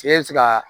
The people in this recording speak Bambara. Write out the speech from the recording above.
Se bɛ se ka